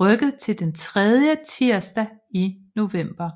rykket til den tredje tirsdag i november